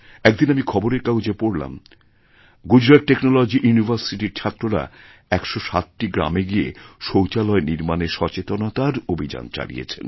একদিন আমি খবরের কাগজেপড়লাম গুজরাট টেকনোলজি ইউনিভার্সিটির ছাত্ররা ১০৭টি গ্রামে গিয়ে শৌচালয়নির্মাণে সচেতনতার অভিযান চালিয়েছেন